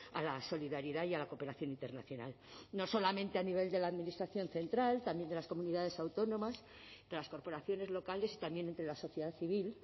a la solidaridad y a la cooperación internacional no solamente a nivel de la administración central también de las comunidades autónomas de las corporaciones locales y también entre la sociedad civil